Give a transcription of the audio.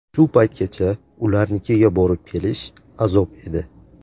Shu paytgacha ularnikiga borib-kelish azob edi.